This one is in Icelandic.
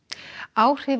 áhrif